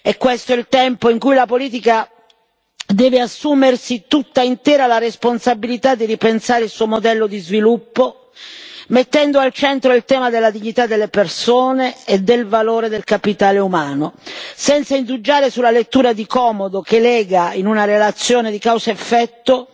È questo il tempo in cui la politica deve assumersi tutta intera la responsabilità di ripensare il suo modello di sviluppo, mettendo al centro il tema della dignità delle persone e del valore del capitale umano, senza indugiare sulla lettura di comodo che lega, in una relazione di causa effetto,